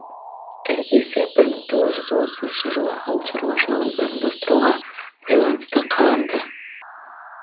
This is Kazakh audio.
іргесі бір мың тоғыз жүз отызыншы жылы ауыл шаруашылығын ұжымдастыруға байланысты қаланды